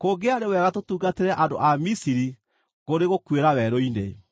Kũngĩarĩ wega tũtungatĩre andũ a Misiri kũrĩ gũkuĩra werũ-inĩ!”